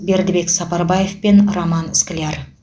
бердібек сапарбаев пен роман скляр